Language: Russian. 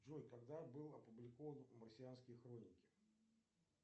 джой когда были опубликованы марсианские хроники